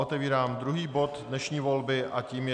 Otevírám druhý bod dnešní volby a tím je